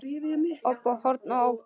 Óbó, horn og orgel.